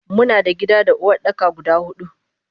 Muna da gida da Uwardaka guda hudu.